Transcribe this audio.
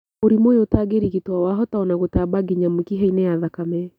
Mũrimũ ũyũ ũtarigitwo wahota ona gũtamba nginya mĩkihainĩ ya thakame